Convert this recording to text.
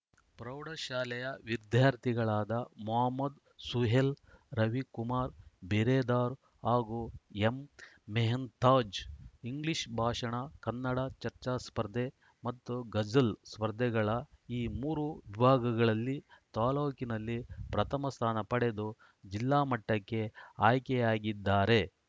ಪ್ರೌಢಶಾಲೆಯ ವಿದ್ಯಾರ್ಥಿಗಳಾದ ಮೊಹಮ್ಮದ್‌ ಸುಹೇಲ್‌ ರವಿಕುಮಾರ್‌ ಬಿರೆದಾರ್‌ ಹಾಗೂ ಎಂಮೆಹಂತಾಜ್‌ ಇಂಗ್ಲೀಷ್‌ ಭಾಷಣ ಕನ್ನಡ ಚರ್ಚಾ ಸ್ಪರ್ಧೆ ಮತ್ತು ಗಜಲ್‌ ಸ್ಪರ್ಧೆಗಳ ಈ ಮೂರು ವಿಭಾಗಗಳಲ್ಲಿ ತಾಲೂಕಿನಲ್ಲಿ ಪ್ರಥಮ ಸ್ಥಾನ ಪಡೆದು ಜಿಲ್ಲಾ ಮಟ್ಟಕ್ಕೆ ಆಯ್ಕೆಯಾಗಿದ್ದಾರೆ